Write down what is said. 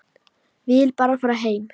Vill bara fara heim.